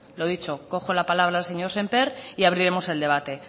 lo dicho cojo la palabra al señor semper y abriremos el debate